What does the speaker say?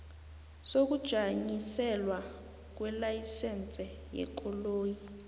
sokujanyiselelwa kwelayisense yekoloyi